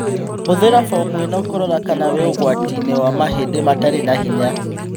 Hũthĩra bomu ĩno kũrora kana wĩ ũgwati-inĩ wa mahĩndĩ matarĩ na hinya